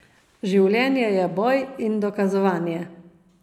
Življenje je boj in dokazovanje.